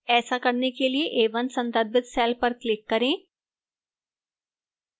ऐसा करने के लिए a1 संदर्भित cell पर click करें